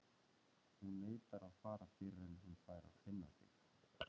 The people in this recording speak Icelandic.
Hún neitar að fara fyrr en hún fær að finna þig.